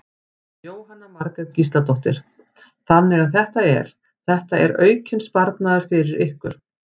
Jóhanna Margrét Gísladóttir: Þannig að þetta er, þetta er aukinn sparnaður fyrir ykkur?